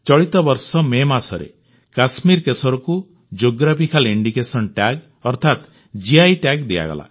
ଚଳିତବର୍ଷ ମେ ମାସରେ କଶ୍ମୀରୀ କେଶରକୁ ଜିଓଗ୍ରାଫିକାଲ ଇଣ୍ଡିକେସନ ଟ୍ୟାଗ ଅର୍ଥାତ ଜିଆଇ ଟ୍ୟାଗ ଦିଆଗଲା